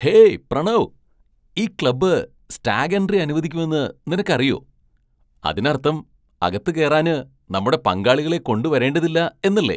Hey Pranav, ഈ club stag entry അനുവദിക്കുമെന്ന് നിനക്കറിയോ? അതിനർത്ഥം അകത്തുകേറാന് നമ്മുടെ പങ്കാളികളെ കൊണ്ടുവരേണ്ടതില്ല എന്നല്ലേ? !